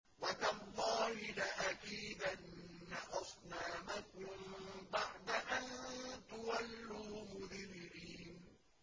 وَتَاللَّهِ لَأَكِيدَنَّ أَصْنَامَكُم بَعْدَ أَن تُوَلُّوا مُدْبِرِينَ